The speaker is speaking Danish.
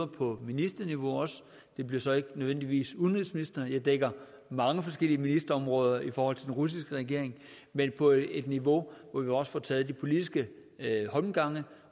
på ministerniveau det bliver så ikke nødvendigvis udenrigsministrene for jeg dækker mange forskellige ministerområder i forhold til den russiske regering men på et niveau hvor vi også får taget politiske holmgange